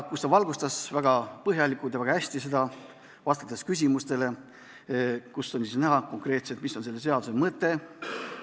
Ta valgustas seda väga põhjalikult ja väga hästi, vastates küsimustele, mille tulemusena oli konkreetselt näha, mis on selle seaduse mõte.